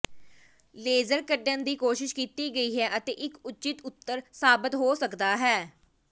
laser ਕੱਢਣ ਦੀ ਕੋਸ਼ਿਸ਼ ਕੀਤੀ ਗਈ ਹੈ ਅਤੇ ਇੱਕ ਉਚਿਤ ਉੱਤਰ ਸਾਬਤ ਹੋ ਸਕਦਾ ਹੈ